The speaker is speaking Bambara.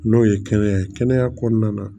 N'o ye kɛnɛya kɔnɔna na